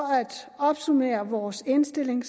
at opsummere vores indstilling